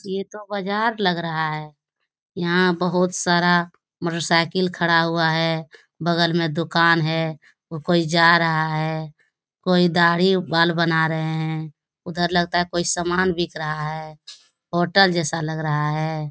ये तो बाजार लग रहा है यहाँ बहुत सारा मोटरसाइकिल खड़ा हुआ है बगल में दुकान है कोई जा रहा है कोई दाढ़ी-बाल बना रहे हैं उधर लगता है कोई सामान बिक रहा है होटल जैसा लग रहा है।